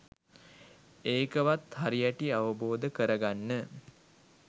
ඒකවත් හරිහැටි අවබෝධ කරගන්න